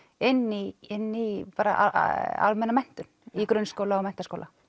inn í inn í almenna menntun í grunnskóla og menntaskóla